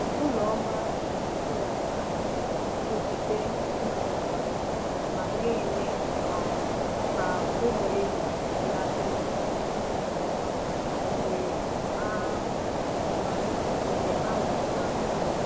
Ụlọ ọma na-ebelata nrụgide ịmụpụta ma na-eme um ka ụmụ ehi lanarị nke ọma mgbe a ọma mgbe a mụrụ ha.